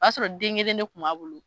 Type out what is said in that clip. O y'a sɔrɔ den kelen de kun b'a bolo